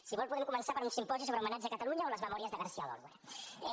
si vol podem començar per un simposi sobre homenatge a catalunya o les memòries de garcia oliver